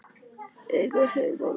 Augun segull.